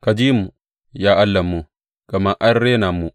Ka ji mu, ya Allahnmu, gama an rena mu.